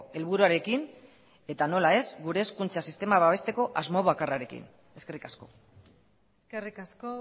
helburuarekin eta nola ez gure hezkuntza sistema babesteko asmo bakarrarekin eskerrik asko eskerrik asko